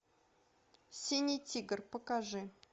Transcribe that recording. синий тигр покажи